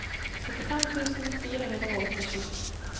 syttifem tusen fire hundre og åttisju